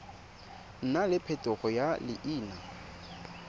nna le phetogo ya leina